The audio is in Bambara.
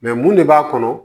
mun de b'a kɔnɔ